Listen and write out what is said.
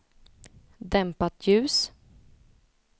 dämpat ljus